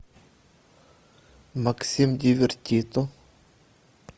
максим дивертито